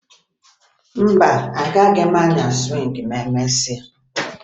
Mba, agaghị m anya sụwịngị ma emesịa